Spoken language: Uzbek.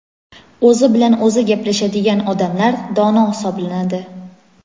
O‘zi bilan o‘zi gaplashadigan odamlar dono hisoblanadi.